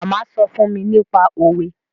Màmá sọ fún mi nípa òwe